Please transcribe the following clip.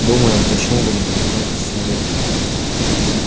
думаю почему бы не познакомить с семьёй